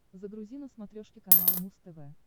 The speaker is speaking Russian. загрузи на смотрешке канал муз тв